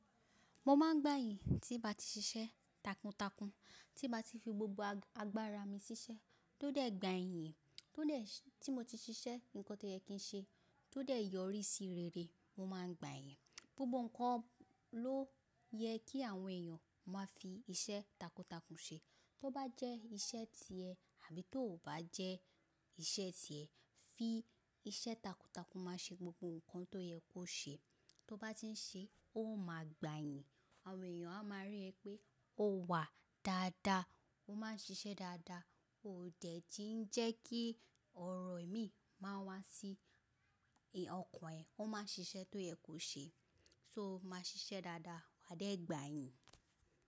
Mo máa ń gbàyin tí bá ti ṣiṣẹ́ takuntakun, tí bá ti fi gbogbo agbára mi ṣiṣẹ́, tó dẹ̀ gbàyin. Tí mo ti ṣiṣẹ́ nǹkan tó yẹ kí ṣe, tó dẹ̀ yọrí sí rere, mo máa ń gbàyìn. Gbogbo ǹkan ló yẹ kí àwọn èèyàn máa fi iṣẹ́ takuntakun ṣe. Tó bá jẹ́ iṣẹ́ tiẹ tàbí tó ò bá jẹ́ iṣẹ́ ti ẹ, fi iṣẹ́ takuntakun máa ṣe gbogbo ǹkan tó yẹ kó ṣe. Tó bá ti ń ṣe, ó máa gbàyìn. Àwọn èèyàn á máa rí ẹ pé o wà dáadáa, o máa ń ṣiṣẹ́ dáadáa, o dẹ̀ tí ń jẹ́ kí ọ̀rọ̀ ìmíì máa wá sí ọkàn ẹ. Ó máa ṣiṣẹ́ tó yẹ kó ṣe, so o máa ṣiṣẹ́ dáadáa, wa dẹ̀ gbàyìn.